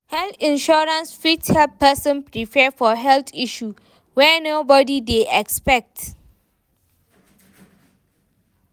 Health insurance fit help person prepare for health issue wey nobody dey expect